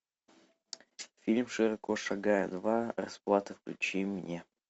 фильм широко шагая два расплата включи мне